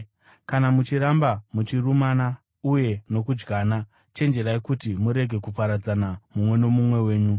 Kana muchiramba muchirumana uye nokudyana, chenjererai kuti murege kuparadzana mumwe nomumwe wenyu.